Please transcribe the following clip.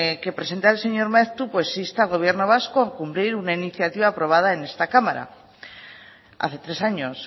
que presenta el señor maeztu pues insta al gobierno vasco a cumplir una iniciativa aprobada en esta cámara hace tres años